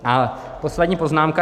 A poslední poznámka.